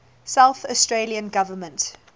south australian government